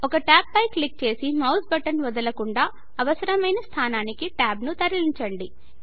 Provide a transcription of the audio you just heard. ఒక ట్యాబ్ పై క్లిక్ చేసి మౌస్ బటన్ వదలకుండా అవసరమైన స్థానానికి ట్యాబ్ ను తరలించండి